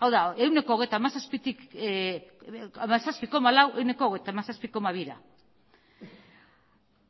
hau da ehuneko hogeita hamazazpi koma lautik ehuneko hogeita hamazazpi koma bira